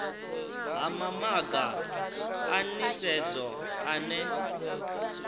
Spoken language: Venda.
ha mamaga a nisedzo ane